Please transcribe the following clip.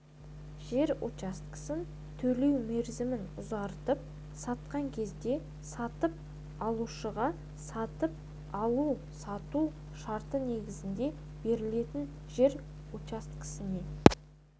жер учаскесін төлеу мерзімін ұзартып сатқан кезде сатып алушыға сатып алу-сату шарты негізінде берілетін жер учаскесіне